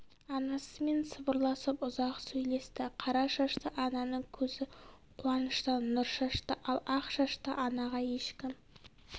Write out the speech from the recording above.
анасымен сыбырласып ұзақ сөйлесті қара шашты ананың көзі қуаныштан нұр шашты ал ақ шашты анаға ешкім